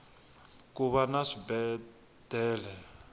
kuva na swibedele